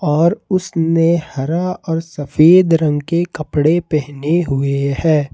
और उसने हरा और सफेद रंग के कपड़े पहने हुए हैं।